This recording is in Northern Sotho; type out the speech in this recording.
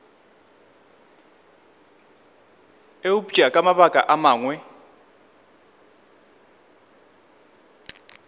eupša ka mabaka a mangwe